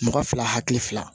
Mɔgɔ fila hakili fila